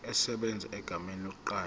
esebenza egameni lomqashi